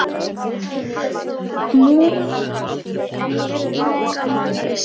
Múlakaffi en ég hafði enga matarlyst.